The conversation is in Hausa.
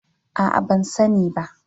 A'a, ban sani ba.